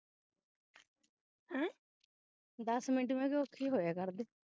ਦਸ minute ਮੈਂ ਕਿਹਾ ਔਖੇਹੀ ਹੋਇਆ ਕਰਦੇ